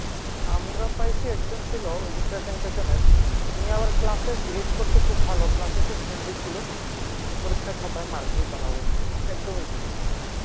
আমরা পাইছি একজন ছিল ওই যে presentation এর উনি আবার class এ behave করতো খুব ভালো class এ friendly ছিল কিন্তু পরীক্ষার খাতায় mark দিত না ভাই একদমই দিত না।